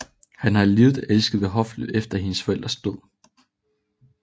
Hun var lidet elsket ved hoffet efter hendes forældres død